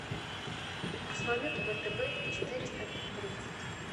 курс валюты втб четыреста тридцать